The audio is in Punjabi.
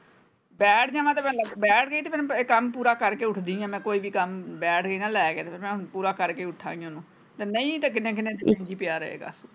ਬੈਠ ਜਾਵਾਂ ਤੇ ਬੈਠ ਗਈ ਤੇ ਫੇਰ ਕੰਮ ਪੂਰਾ ਕਰਕੇ ਉੱਠਦੀ ਆਂ ਮੈਂ ਕੋਈ ਵੀ ਕੰਮ ਬੈਠ ਗਈ ਨਾ ਲੈ ਕੇ ਤੇ ਹੁਣ ਪੂਰਾ ਕਰੇਕ ਉਠਾਂਗੀ ਹੁਣ ਤੇ ਨਹੀਂ ਤੇ ਕਿੰਨੇ ਕਿੰਨੇ ਦਿਨ ਵੀ ਪੀ ਰਹੇਗਾ।